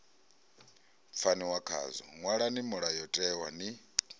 pfaniwa khazwo ṅwalani mulayotewa ni